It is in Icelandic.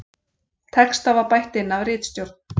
Texta var bætt inn af ritstjórn